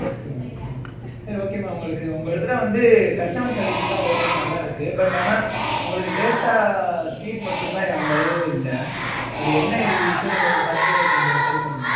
okay mam okay mam சரி, okay உங்களுக்கு, ஒரு தடவை வந்து, customer service எல்லாம், okay நல்லா இருக்கு. but ஆனா, உங்களுக்கு data, speed மட்டும்தான், அந்த அளவு இல்லை. அது, என்ன இது issue ன்னு பார்த்து, கொஞ்சம் சரி பண்ணுங்க